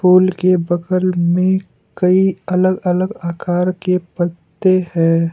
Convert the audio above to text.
फूल के बगल में कई अलग अलग आकार के पत्ते हैं।